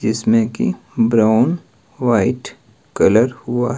जिसमें की brown white colour हुआ--